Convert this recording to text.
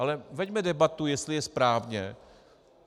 Ale veďme debatu, jestli je správně.